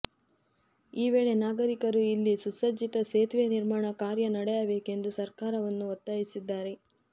ಈ ವೇಳೆ ನಾಗರಿಕರು ಇಲ್ಲಿ ಸುಸಜ್ಜಿತ ಸೇತುವೆ ನಿರ್ಮಾಣ ಕಾರ್ಯ ನಡೆಯಬೇಕೆಂದು ಸರ್ಕಾರವನ್ನು ಒತ್ತಾಯಿಸಿದ್ದಾರೆ